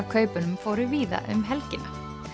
kaupunum fóru víða um helgina